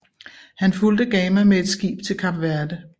Han fulgte Gama med et skib til Kap Verde